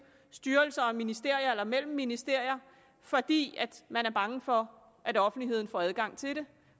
styrelser og ministerier eller mellem ministerier fordi man er bange for at offentligheden får adgang til dem